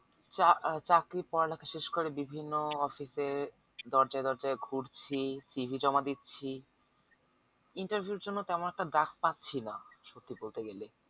চা চাকরির পড়ালেখা শেষ করে বিভিন্ন office এরদরজায় দরজায় ঘুরছি জমা দিচ্ছি interview এর তেমন একটা ডাক পাচ্ছি না সত্যি বলতে গেলে